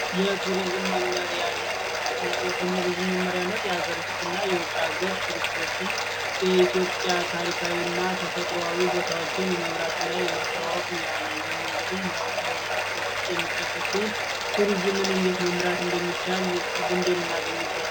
የቱሪዝም መመሪያ ንድፍ የቱሪዝም መመሪያ ለሀገር ውስጥና ለሀገር ውጭ ቱሪስት የኢትዮጵያን ታሪካዊ ቦታዎች የማስተዋወቅ ሙያ ነው ይህም እንግዲህ ከሙያዎች የሚጠቀስ ሲሆን ቱሪዝምን እንዴት መምራት እንደሚቻል ልምድ የምናገኝበት ነው።